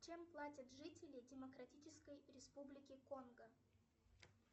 чем платят жители демократической республики конго